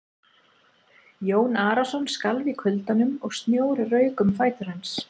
Jón Arason skalf í kuldanum og snjór rauk um fætur hans.